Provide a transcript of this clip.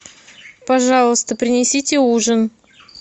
пожалуйста принесите ужин